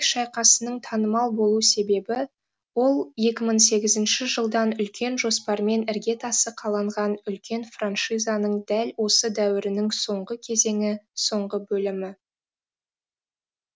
шайқасының танымал болу себебі ол екі мың сегізінші жылдан үлкен жоспармен іргетасы қаланған үлкен франшизаның дәл осы дәуірінің соңғы кезеңі соңғы бөлімі